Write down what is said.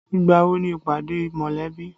Ìgbà wo ni ìpàdé mọ̀lẹ́bí?